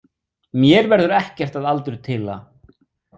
Mér verður ekkert að aldurtila.